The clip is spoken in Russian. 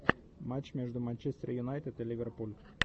матч между манчестер юнайтед и ливерпуль